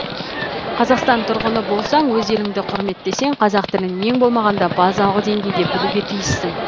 қазақстан тұрғыны болсаң өз елінді кұрметтесең қазақ тілін ең болмағанда базалық деңгейде білуге тиіссің